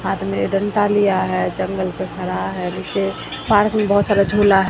हाथ में डंडा लिया है। जंगल में खड़ा है नीचे पार्क में बहोत सारा झूला है।